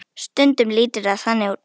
Stundum lítur það þannig út.